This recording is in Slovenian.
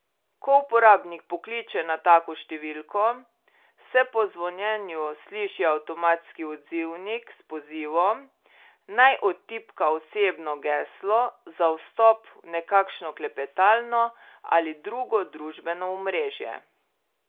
Ko uporabnik pokliče na tako številko, se po zvonjenju sliši avtomatski odzivnik s pozivom, naj odtipka osebno geslo za vstop v nekakšno klepetalno ali drugo družbeno omrežje.